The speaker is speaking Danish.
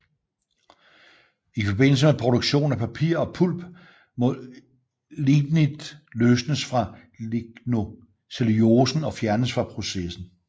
I forbindelse med produktion af papir og pulp må ligninet løsnes fra lignocellulosen og fjernes fra processen